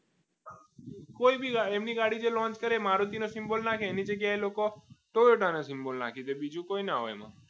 કોઈ બી હોય એમની ગાડી જે launch કરે મારુતિ ન symbol નાખે એની જગ્યા પર લોકો ટોયોટા નો symbol નાખી તે બીજું કંઈ ના હોય એમાં